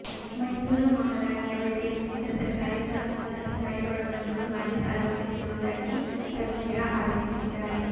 ಮೈಸೂರು ಮಹಾರಾಣಿಯವರಿಗೆ ಸೇರಿದ ಸರ್ಕಾರಿ ಜಾಗವನ್ನು ಅಧಿಕಾರಿಗಳು ಮಂಜೂರು ಮಾಡಿ ಸಾಲ ಕೊಡಿಸಿರುವುದಾಗಿ ರವೀಂದ್ರ ಅರೋಪಿಸಿದ್ದಾರೆ